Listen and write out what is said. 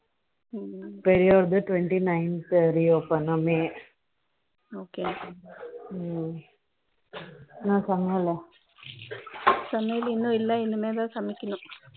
பெரியவனுகு twenty nine த் reopen ஆ May okay என்ன சமயலூ சமயல் இன்னும் இல்லை இனிமேல் தான் சமைக்கனும்